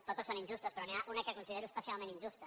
totes són injustes però n’hi ha una que considero especialment injusta